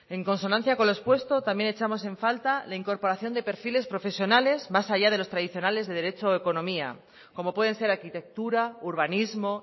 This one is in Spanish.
en consonancia con lo expuesto también echamos en falta la incorporación de perfiles profesionales más allá de los tradicionales de derecho o economía como pueden ser arquitectura urbanismo